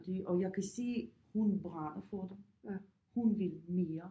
Og det og jeg kan se hun brænder for det hun vil mere